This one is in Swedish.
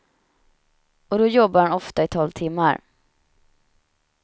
Och då jobbar han ofta i tolv timmar.